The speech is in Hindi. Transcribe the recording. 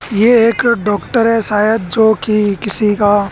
ये एक डॉक्टर है शायद जोकि किसी का--